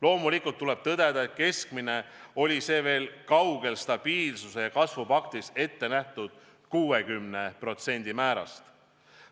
Loomulikult tuleb tõdeda, et selline keskmine oli veel kaugel stabiilsuse ja kasvu paktis ettenähtud 60% määrast.